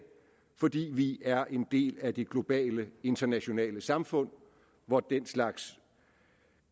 fordi vi er en del af det globale internationale samfund hvor den slags